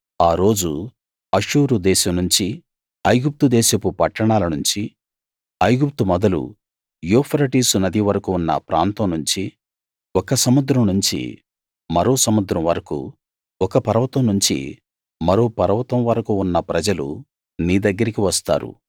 ఆ రోజు అష్షూరు దేశం నుంచి ఐగుప్తు దేశపు పట్టణాల నుంచి ఐగుప్తు మొదలు యూఫ్రటీసు నది వరకూ ఉన్న ప్రాంతం నుంచి ఒక సముద్రం నుంచి మరో సముద్రం వరకూ ఒక పర్వతం నుంచి మరో పర్వతం వరకూ ఉన్న ప్రజలు నీ దగ్గరికి వస్తారు